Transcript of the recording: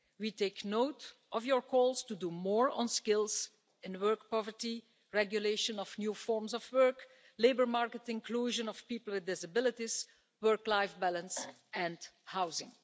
We take note of your calls to do more on skills, in work poverty, regulation of new forms of work, labour market inclusion of people with disabilities, work life balance and housing.